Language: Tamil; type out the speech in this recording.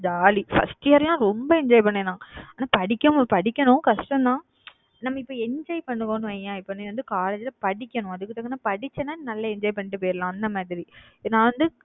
jolly first year லாம் ரொம்ப enjoy பண்ணேன் நான். ஆனா படிக்கணும் படிக்கணும் கஷ்டம்தான் நம்ம இப்ப enjoy பண்ணுவோம்னு வையேன் இப்ப நீ வந்து college ல படிக்கணும். அதுக்கு தகுந்த மாதிரி படிச்சேன்னா நல்லா enjoy பண்ணிட்டு போயிடலாம். அந்த மாதிரி நான் வந்து